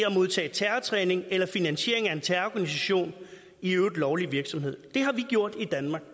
modtage terrortræning eller at finansiere en terrororganisations i øvrigt lovlige virksomhed det har vi gjort i danmark